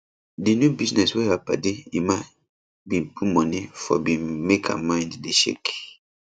di new business wey her padi emma bin put money forbin make her mind dey shake